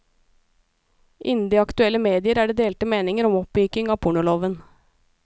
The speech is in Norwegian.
Innen de aktuelle medier er det delte meninger om oppmykning av pornoloven.